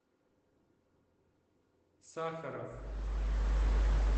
сахаров